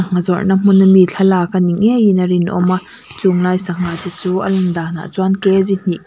ngha zawrhna hmun ami thlalak ani ngeiin a rinawm a chunglai sangha te chu a lan danah chuan hnih--